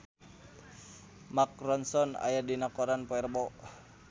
Mark Ronson aya dina koran poe Rebo